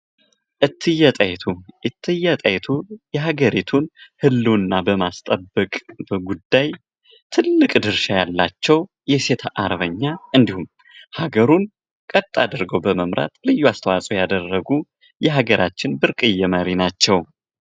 እትዬ ጣይቱ ፦ እትዬ ጣይቱ የሀገሪቱን ህልውና በማስጠበቅ ጉዳይ ትልቅ ድርሻ ያላቸው የሴት አርበኛ እንዲሁም ሀገሩን ቀጥ አድርገው በመምራት ልዩ አስተዋጽኦ ያደረጉ የሀገራችን ብርቅዬ መሪ ናቸው ።